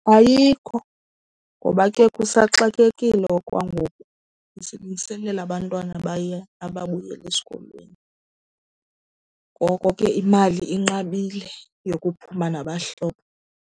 Ayikho, ngoba ke kusaxakekiwe okwangoku. Besilungiselela abantwana abaya, ababuyela esikolweni, ngoko ke imali inqabile yokuphuma nabahlobo.